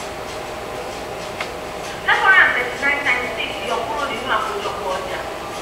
five hundred thirty nine times six yọ kúrò nínú àkójọpọ ọjà